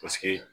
Paseke